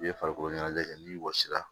I ye farikolo ɲɛnajɛ kɛ n'i wɔsi la